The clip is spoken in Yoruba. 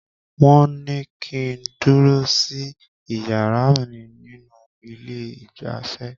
Wọ́n ní kí n dúró sí iyàrá mí nínú ilé ìgbafẹ́.